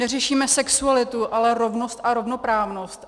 Neřešíme sexualitu, ale rovnost a rovnoprávnost.